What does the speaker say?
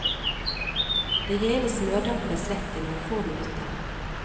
Det hele smørdampes lett i noen få minutter.